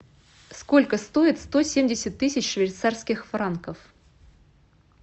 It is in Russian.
сколько стоит сто семьдесят тысяч швейцарских франков